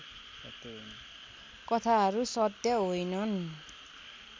कथाहरू सत्य होइनन्